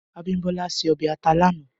Abimbola sè òbè àtá lànã